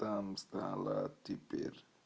там стало теперь